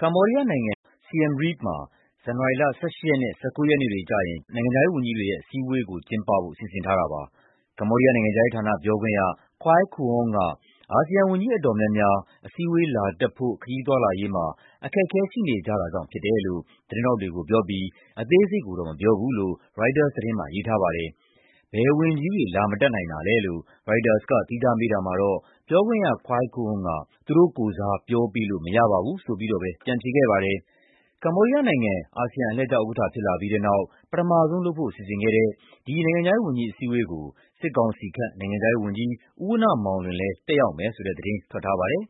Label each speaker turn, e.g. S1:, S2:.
S1: ကမ္ဘောဒီးယားနိုင်ငံ Siem Reap မှာ ဇန်နဝါရီလ ၁၈ ရက်နဲ့ ၁၉ ရက်နေ့တွေကျရင် နိုင်ငံခြားရေးဝန်ကြီးတွေရဲ့ အစည်းအဝေးကို ကျင်းပဖို့ စီစဉ်ထားတာပါ။ ကမ္ဘောဒီးယားနိုင်ငံခြားရေးဌာန ပြောခွင့်ရ Koy Kuong က အာဆီယံဝန်ကြီး အတော်များများ အစည်းအဝေး လာတက်ဖို့ ခရီးသွားလာရေးမှာ အခက်အခဲရှိနေကြတာကြောင့်ဖြစ်တယ်လို့ သတင်းထောက်တွေကိုပြောပြီး အသေးစိတ်ကိုတော့ မပြောဘူးလို့ ရိုက်တာသတင်းမှာ ရေးထားပါတယ်။ ဘယ်ဝန်ကြီးတွေ လာမတက်နိုင်တာလဲလို့ ရိုက်တာက သီးခြားမေးတာမှာတော့ ပြောခွင့်ရ Koy Kuong က သူတို့ကိုယ်စား ပြောပေးလို့မရပါဘူးလို့ပဲ ပြန်ဖြေခဲ့ပါတယ်။ ကမ္ဘောဒီးယားနိုင်ငံ အာဆီယံအလှည်ကျဥက္ကဋ္ဌ ဖြစ်လာပြီးတဲ့နောက် ပထမဆုံးလုပ်ဖို့စီစဉ်ခဲ့တဲ့ ဒီနိုင်ငံခြားရေးဝန်ကြီး အစည်းအဝေးကို (မြန်မာ) စစ်ကောင်စီခန့် နိုင်ငံခြားရေးဝန်ကြီး ဦးဝဏ္ဏမောင်လွင်လည်း တက်ရောက်မယ်ဆိုတဲ့သတင်း ထွက်ထားပါတယ်